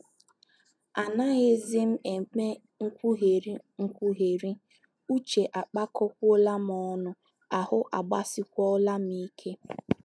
Anaghịzi m eme nkwugheri, nkwugheri, uche akpakọkwuola m ọnụ, ahụ́ agbasikwuokwala m ike.